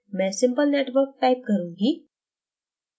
मैं simple networkटाइप करुँगी